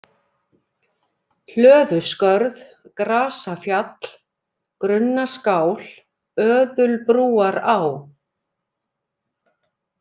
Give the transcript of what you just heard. Hlöðuskörð, Grasafjall, Grunnaskál, Öðulbrúará